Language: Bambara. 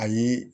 Ayi